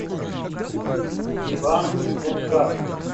иван дунгак